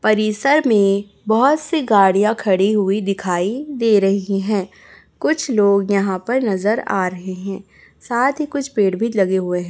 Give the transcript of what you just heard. परिसर में बहोत से गाड़ियां खड़ी हुए दिखाई दे रही है कुछ लोग नज़र आ रहे है साथ ही कुछ पेड़ लगे हुए है।